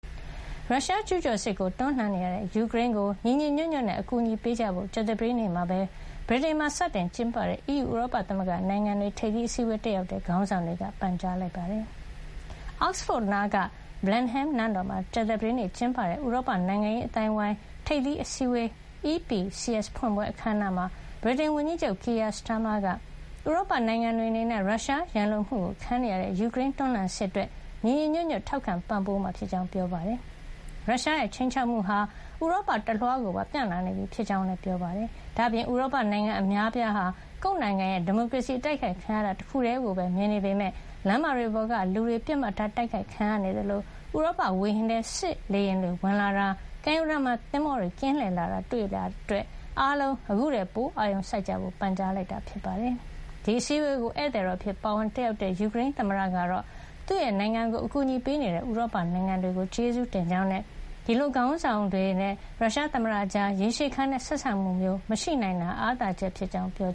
ရုရှားရဲ့ကျူးကျော်စစ်ကိုတွန်းလှန်နေရတဲ့ ယူကရိန်းကို ညီညီညွတ်ညွတ်နဲ့ အကူအညီပေးကြဖို့ ကြာသပတေးနေ့ ဗြိတိန်မှာ စတင်ကျင်းပတဲ့ အီးယူ ဥရောပသမဂ္ဂနိုင်ငံတွေရဲ့ ထိပ်သီးအစည်းအဝေးတက်ရောက်လာတဲ့ ခေါင်းဆောင်တွေက ပန်ကြားလိုက်ပါတယ်။ အောက်စ်ဖို့နားက Blenheim နန်းတော်မှာ ကြာသပတေးနေ့ကျင်းပတဲ့ ဥရောပနိုင်ငံရေးအသိုင်းအဝိုင်း ထိပ်သီးအစည်းဝေး EPCS ဖွင့်ပွဲ အခမ်းအနားမှာ ဗြိတန်ဝန်ကြီးချုပ် Keir Starmer က ဥရောပနိုင်ငံတွေအနေနဲ့ ရုရှားရန်လိုမှုခံနေရတဲ့ ယူကရိန်းရဲ့တွန်းလှန်စစ်အတွက် ညီညီညွတ်ညွတ် ထောက်ခံပံ့ပိုးမှာ ဖြစ်ကြောင်း ပြောကြားခဲ့ပါတယ်။ ရုရှားရဲ့ခြိမ်းခြောက်မှုဟာ ဥရောပတလွှားကိုပါ ပြန့်လာနေပြီဖြစ်ကြောင်းလည်း ပြောပါတယ်။ ဒါ့အပြင် ဥရောပနိုင်ငံအများအပြားဟာ ကိုယ့်နိုင်ငံရဲ့ဒီမိုကရေစီ အတိုက်ခိုက်ခံရတာတခုတည်းကို မြင်နေကြပေမယ့် လမ်းမတွေပေါ်ကလူတွေ ပစ်မှတ်ထားတိုက်ခိုက်တာခံနေရသလို ဥရောပဝေဟင်ထဲ စစ်လေယာဉ်တွေ ဝင်လာတာ၊ ကမ်းရိုးတန်းမှာ သင်္ဘောတွေကင်းလှည့်လာတာတွေ တွေ့လာရတဲ့အတွက် အားလုံးခုထက်ပို အာရုံစိုက် ကြဖို့ ပန်ကြားလိုက်တာပါ။ ဒီအစည်းအဝေးကို ဧည့်သည်တော်အဖြစ် ပါဝင်တက်ရောက်လာတဲ့ ယူကရိန်းသမ္မတကတော့ သူ့နိုင်ငံကိုအကူညီပေးတဲ့ ဥရောပနိုင်ငံတွေကို ကျေးဇူးတင်ကြောင်းနဲ့ ဒီလိုခေါင်းဆောင်တွေနဲ့ ရုရှားသမ္မတကြား ရေရှည်ခံတဲ့ဆက်ဆံမှုမျိုးမရှိနိုင်တာဟာ အားသာချက် တခုဖြစ်ကြောင်း ပြော